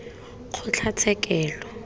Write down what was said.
kgotlatshekelo